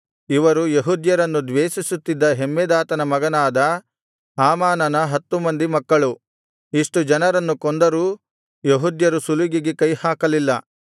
ಇವರು ಯೆಹೂದ್ಯರನ್ನು ದ್ವೇಷಿಸುತ್ತಿದ್ದ ಹಮ್ಮೆದಾತನ ಮಗನಾದ ಹಾಮಾನನ ಹತ್ತು ಮಂದಿ ಮಕ್ಕಳು ಇಷ್ಟು ಜನರನ್ನು ಕೊಂದರೂ ಯೆಹೂದ್ಯರು ಸುಲಿಗೆಗೆ ಕೈಹಾಕಲಿಲ್ಲ